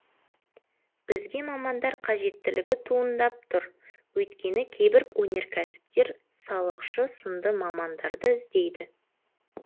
бізге мамандар қажеттілігі туындап тұр өйткені кейбір өнеркәсіптер салықшы сынды мамандарды іздейді